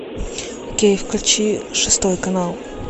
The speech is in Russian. окей включи шестой канал